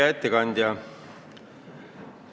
Hea ettekandja!